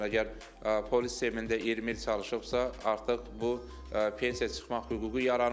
Məsələn, əgər polis sistemində 20 il çalışıbsa, artıq bu pensiya çıxmaq hüququ yaranır.